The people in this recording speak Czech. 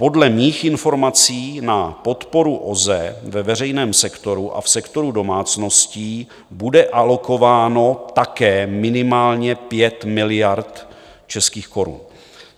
Podle mých informací na podporu OZE ve veřejném sektoru a v sektoru domácností bude alokováno také minimálně 5 miliard českých korun.